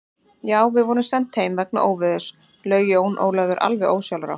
Já, við vorum send heim vegna veðurs, laug Jón Ólafur alveg ósjálfrátt.